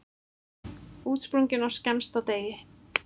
Útsprungin á skemmsta degi.